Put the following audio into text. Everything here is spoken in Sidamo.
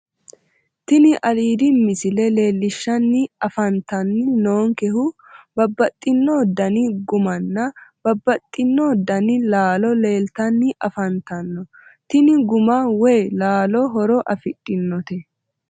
Tini aiidi misile leellishshanni afantanni noonkehu babbaxxino dani gummanna babbaxxino dani laalo leeltanni afantanno tini gumma woyi laalo horo afidhinote